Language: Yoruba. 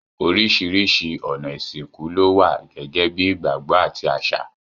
Oríṣiríṣi ọ̀nà ìsìnkú ló wà gẹ́gẹ́ bí ìgbàgbọ́ àti àṣà.